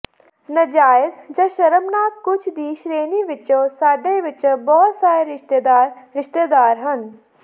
ਨਜਾਇਜ਼ ਜਾਂ ਸ਼ਰਮਨਾਕ ਕੁਝ ਦੀ ਸ਼੍ਰੇਣੀ ਵਿਚੋਂ ਸਾਡੇ ਵਿਚੋਂ ਬਹੁਤ ਸਾਰੇ ਰਿਸ਼ਤੇਦਾਰ ਰਿਸ਼ਤੇਦਾਰ ਹਨ